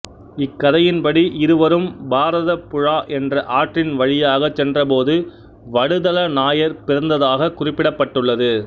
இக்கதையின் படி இருவரும் பாரதப்புழா என்ற ஆற்றின் வழியாகச் சென்றபோது வடுதல நாயர் பிறந்ததாக குறிப்பிடப்பட்டுள்ளது